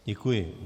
Děkuji.